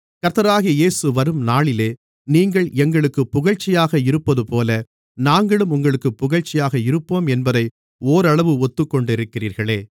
கர்த்தராகிய இயேசு வரும்நாளிலே நீங்கள் எங்களுக்குப் புகழ்ச்சியாக இருப்பதுபோல நாங்களும் உங்களுக்குப் புகழ்ச்சியாக இருப்போம் என்பதை ஓரளவு ஒத்துக்கொண்டிருக்கிறீர்களே